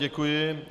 Děkuji.